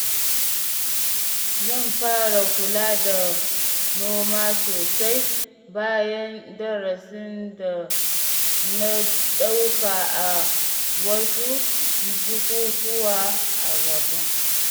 Zan fara kula da noma sosai bayan darasin da na dauka a wasu bukukkuwa a Ghana.